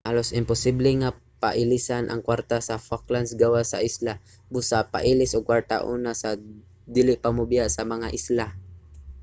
halos imposible nga pailisan ang kwarta sa falklands gawas sa isla busa pailis og kwarta una sa dili pa mobiya sa mga isla